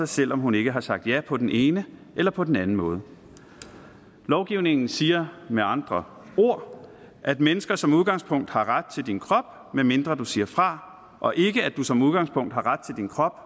selv om hun ikke har sagt ja på den ene eller på den anden måde lovgivningen siger med andre ord at mennesker som udgangspunkt har ret til din krop medmindre du siger fra og ikke at du som udgangspunkt har ret til din krop